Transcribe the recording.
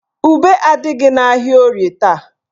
Ube adịghị n'ahịa Orie taa.